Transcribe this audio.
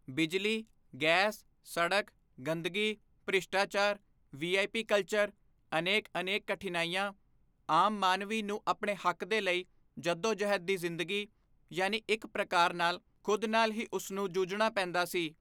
ਬਿਜਲੀ, ਗੈਸ, ਸੜਕ, ਗੰਦਗੀ, ਭ੍ਰਿਸ਼ਟਾਚਾਰ, ਵੀਆਈਪੀ ਕਲਚਰ, ਅਨੇਕ ਅਨੇਕ ਕਠਿਨਾਈਆਂ, ਆਮ ਮਾਨਵੀ ਨੂੰ ਆਪਣੇ ਹੱਕ ਦੇ ਲਈ ਜੱਦੋਜਹਿਦ ਦੀ ਜ਼ਿੰਦਗੀ, ਯਾਨੀ ਇੱਕ ਪ੍ਰਕਾਰ ਨਾਲ ਖੁਦ ਨਾਲ ਹੀ ਉਸ ਨੂੰ ਜੂਝਣਾ ਪੈਂਦਾ ਸੀ।